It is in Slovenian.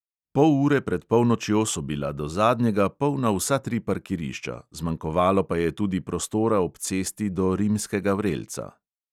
Pol ure pred polnočjo so bila do zadnjega polna vsa tri parkirišča, zmanjkovalo pa je tudi prostora ob cesti do rimskega vrelca.